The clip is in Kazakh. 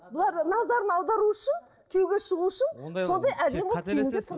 бұларды назарын аудару үшін күйеуге шығу үшін сондай әдемі